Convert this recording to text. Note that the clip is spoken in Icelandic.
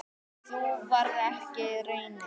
Sú varð ekki raunin.